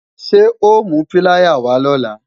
Ṣé o mú píláyà wá lọ̀la?